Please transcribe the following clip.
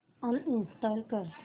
uninstall कर